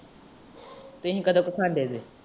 ਤੁਹੀ ਕਦੋਂ ਕੁ ਖਾਂਦੇ ਜੇ।